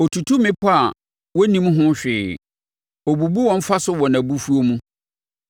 Ɔtutu mmepɔ a wɔnnim ho hwee ɔbubu wɔn fa so wɔ nʼabufuo mu.